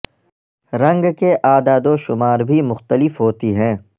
رنگ کے اعداد و شمار بھی مختلف ہوتی ہیں